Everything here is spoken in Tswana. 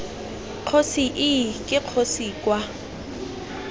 kgosi ii ke kgosi kwa